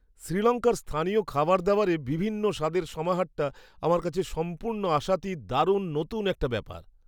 শ্রীলঙ্কার স্থানীয় খাবারদাবারে বিভিন্ন স্বাদের সমাহারটা আমার কাছে সম্পূর্ণ আশাতীত দারুণ নতুন একটা ব্যাপার!